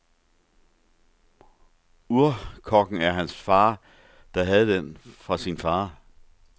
Urkokken er fra hans far, der havde den fra sin far.